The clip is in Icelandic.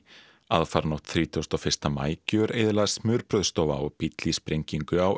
aðfaranótt þrítugasta og fyrsta maí gjöreyðilagðist smurbrauðsstofa og bíll í sprengingu á